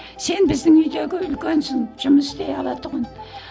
сен біздің үйдегі үлкенсің жұмыс істей ала тұғын